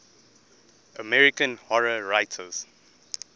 american horror writers